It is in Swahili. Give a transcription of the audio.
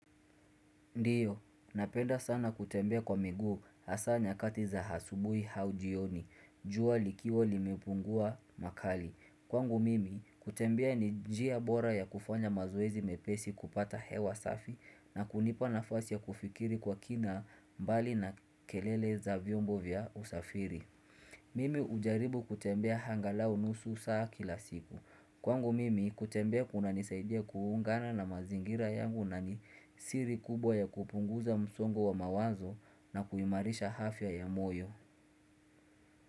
Ndiyo, napenda sana kutembea kwa miguu hasa nyakati za hasubui au jioni. Jua likiwa limepungua makali. Kwangu mimi, kutembea ni njia bora ya kufanya mazoezi mepesi kupata hewa safi na kunipa nafasi ya kufikiri kwa kina mbali na kelele za vyombo vya usafiri. Mimi hujaribu kutembea hangalau nusu saa kila siku. Kwangu mimi kutembea kunanisaidia kuungana na mazingira yangu nani siri kubwa ya kupunguza msongo wa mawazo na kuimarisha hafya ya moyo.